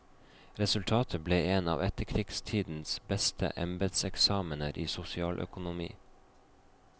Resultatet ble en av etterkrigstidens beste embedseksamener i sosialøkonomi.